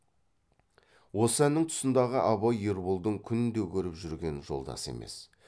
осы әннің тұсындағы абай ерболдың күнде көріп жүрген жолдасы емес